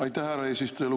Aitäh, härra eesistuja!